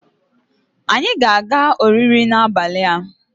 anyi ga-aga oriri n'abali a